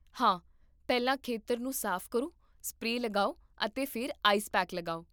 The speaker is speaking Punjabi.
ਹਾਂ, ਪਹਿਲਾਂ ਖੇਤਰ ਨੂੰ ਸਾਫ਼ ਕਰੋ, ਸਪਰੇਅ ਲਗਾਓ, ਅਤੇ ਫਿਰ ਆਈਸ ਪੈਕ ਲਗਾਓ